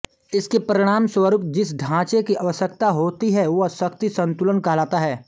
इसके परिणामस्वरूप जिस ढांचे की आवश्यकता होती है वह शक्ति संतुलन कहलाता है